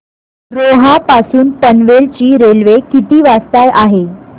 रोहा पासून पनवेल ची रेल्वे किती वाजता आहे